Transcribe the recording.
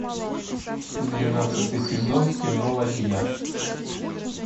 двенадцатый сезон кино ладья